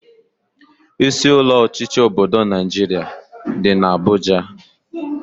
Isi ụlọ ọchịchị obodo Naijiria dị n'Abuja